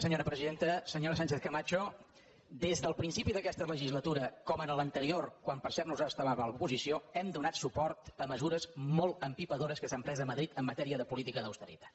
senyora sánchez camacho des del principi d’aquesta legislatura com en l’anterior quan per cert nosaltres estàvem a l’oposició hem donat suport a mesures molt empipadores que s’han pres a madrid en matèria de política d’austeritat